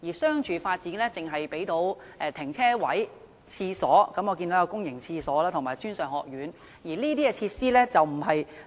商住發展項目只可以提供停車位、公共廁所及專上學院等，但這些都不是市民想要的設施。